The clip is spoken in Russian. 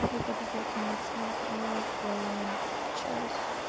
преподавательница в час